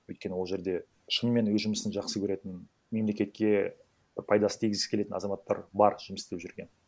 өйткені ол жерде шынымен өз жұмысын жақсы көретін мемлекетке пайда істегісі келетін азаматтар бар жұмыс істеп жүрген